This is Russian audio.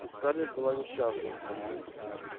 и скарлетт была несчастна